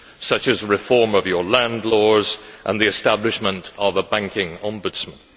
such as reform of your land laws and the establishment of a banking ombudsman.